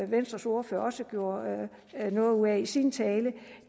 venstres ordfører også gjorde noget ud af i sin tale